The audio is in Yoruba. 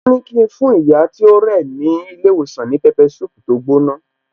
Wón ní ki n fún ìyá tí ó rẹ̀ ní ilé ìwòsàn ní pepper soup tó gbóná